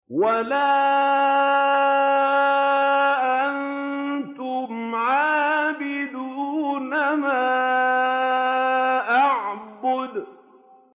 وَلَا أَنتُمْ عَابِدُونَ مَا أَعْبُدُ